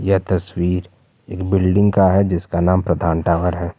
यह तस्वीर एक बिल्डिंग का है जिसका नाम प्रधान टावर है।